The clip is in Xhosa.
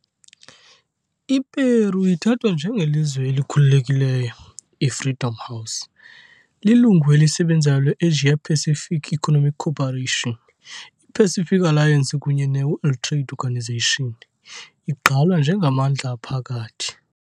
I-Peru ithathwa njengelizwe "elikhululekile" yi-Freedom House, lilungu elisebenzayo le-Asia-Pacific Economic Cooperation, i -Pacific Alliance kunye ne- World Trade Organization, igqalwa njengamandla aphakathi .